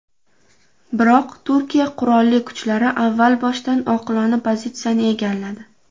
Biroq Turkiya Qurolli kuchlari avval boshdan oqilona pozitsiyani egalladi.